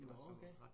Nåh okay